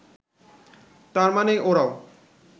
তার মানে ওরাও